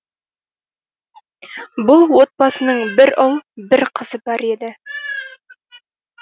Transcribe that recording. бұл отбасының бір ұл бір қызы бар еді